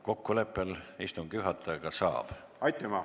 Kokkuleppel istungi juhatajaga saab kolm minutit juurde.